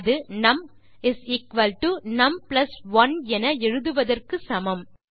அது நும் num 1 என எழுதுவதற்கு சமம்